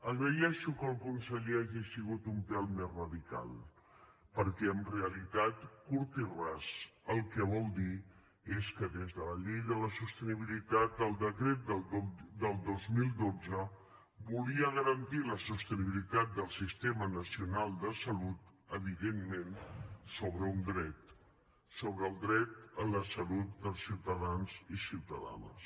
agraeixo que el conseller hagi sigut un pèl més radical perquè en realitat curt i ras el que vol dir és que des de la llei de la sostenibilitat el decret del dos mil dotze volia garantir la sostenibilitat del sistema nacional de salut evidentment sobre un dret sobre el dret a la salut dels ciutadans i ciutadanes